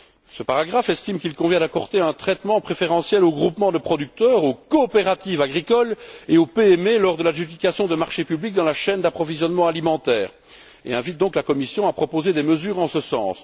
Ce paragraphe estime qu'il convient d'accorder un traitement préférentiel aux groupements de producteurs, aux coopératives agricoles et aux PME lors de l'adjudication de marchés publics dans la chaîne d'approvisionnement alimentaire et invite donc la Commission à proposer des mesures en ce sens.